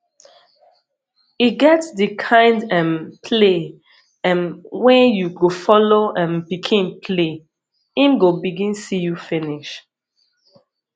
e get di kind um play um wey you go follow um pikin play im go begin see you finish